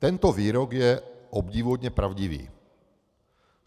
Tento výrok je obdivuhodně pravdivý.